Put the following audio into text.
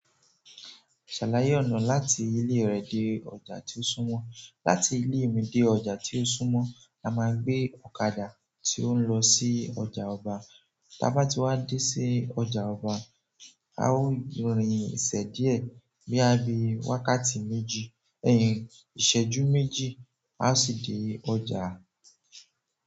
Ṣàlàyé ọ̀nà láti ilé rẹ dé ọjà tí ó súnmọ́. Láti ilé mi dé ọjà tí ó súnmọ́, a máa gbé ọ̀kadà tí o n lọ sí ọjà ọba. Ta bá ti wá dé sí ọjà ọba, a ó rin isẹ̀ díẹ̀ bi a bí wákàtí méjì, ẹyin ìṣẹ́jú méjì, a sì dé ọjà.